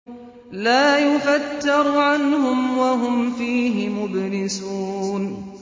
لَا يُفَتَّرُ عَنْهُمْ وَهُمْ فِيهِ مُبْلِسُونَ